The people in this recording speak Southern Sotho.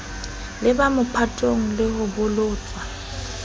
leba mophatong le ho bolotswa